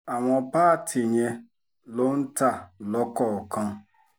àwọn páàtì yẹn ló ń ta lọ́kọ̀ọ̀kan